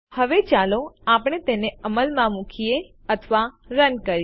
હવે ચાલો આપણે તેને અમલમાં મુકીએ અથવા રન કરીએ